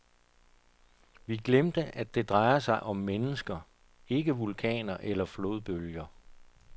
Vi glemte, at det drejer sig om mennesker, ikke vulkaner eller flodbølger.